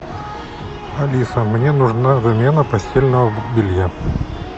алиса мне нужна замена постельного белья